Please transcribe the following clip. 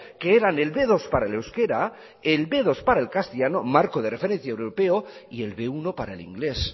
que eran el be dos para el euskara el be dos para el castellano marco europeo de referencia y el be uno para el inglés